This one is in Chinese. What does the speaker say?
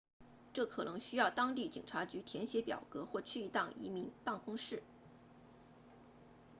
这可能需要去当地警察局填写表格或去一趟移民办公室